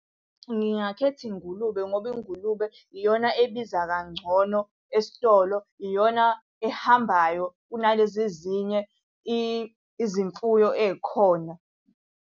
Ngingakhetha ingulube ngoba ingulube iyona ebiza kangcono esitolo, iyona ehambayo kunalezi ezinye izimfuyo ey'khona.